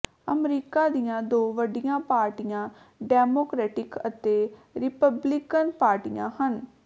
America ਦੀਆਂ ਦੋ ਵੱਡੀਆਂ ਪਾਰਟੀਆਂ ਡੈਮੋਕਰੇਟਿਕ ਅਤੇ ਰਿਪਬਲਿਕਨ ਪਾਰਟੀਆਂ ਹਨ